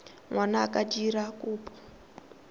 ngwana a ka dira kopo